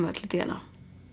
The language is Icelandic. öll í d n a